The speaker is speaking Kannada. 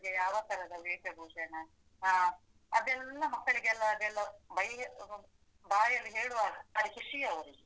ಯಾವ ತರದ ವೇಷ ಭೂಷಣ, ಆ ಅದೆಲ್ಲ ಮಕ್ಕಳಿಗೆಲ್ಲ ಅದೆಲ್ಲ ಬೈ~ ಬಾಯಲ್ಲಿ ಹೇಳುವಾಗ ಬಾರಿ ಖುಷೀ ಅವರಿಗೆ.